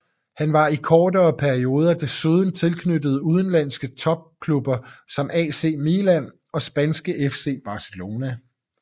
Han var i kortere perioder desuden tilknyttet udenlandske topklubber som AC Milan og spanske FC Barcelona